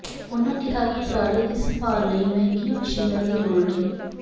ਉਨ੍ਹਾਂ ਕਿਹਾ ਕਿ ਪਰਾਲੀ ਦੀ ਸੰਭਾਲ ਲਈ ਮਹਿੰੰਗੀਆਂ ਮਸ਼ੀਨਾਂ ਦੀ ਲੋੜ ਨਹੀਂ